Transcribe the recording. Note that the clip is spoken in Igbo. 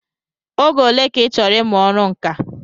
Oge ole ka ịchọrọ ịmụ ọrụ nka?